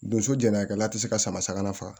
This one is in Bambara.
Donso jɛnɛyakɛla tɛ se ka sama sagama faga